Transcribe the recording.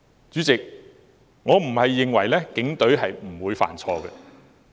主席，我並非認為警隊不會犯錯。